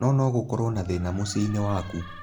No no gũkoro na thĩna mũciĩnĩ waku